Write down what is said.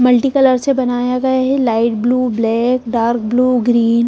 multi colour से बनाया गया है light blue black dark blue green --